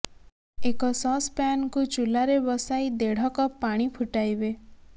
ଏକ ସସ୍ ପ୍ୟାନ୍କୁ ଚୁଲାରେ ବସାଇ ଦେଢ଼ କପ୍ ପାଣି ଫୁଟାଇବେ